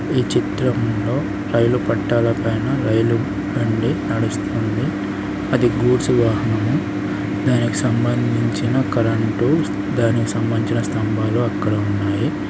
ఈ చిత్రంలో రైలు పట్టాల పైన రైలు బండి నడుస్తుంది. అది గూడ్స్ వాహనము దానికి సంబంధించిన కరెంటు దానికి సంబంధించిన స్తంభాలు అక్కడ ఉన్నాయి.